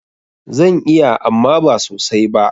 Zan iya amma ba sosai ba.